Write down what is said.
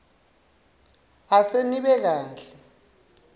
ase nibe kahle